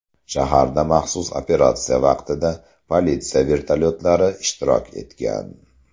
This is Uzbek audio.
Shaharda maxsus operatsiya vaqtida politsiya vertolyotlari ishtirok etgan.